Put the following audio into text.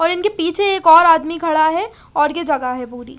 और इनके पीछे एक और आदमी खड़ा है और ये जगह है भूरी--